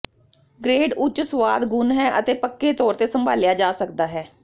grade ਉੱਚ ਸੁਆਦ ਗੁਣ ਹੈ ਅਤੇ ਪੱਕੇ ਤੌਰ ਤੇ ਸੰਭਾਲਿਆ ਜਾ ਸਕਦਾ ਹੈ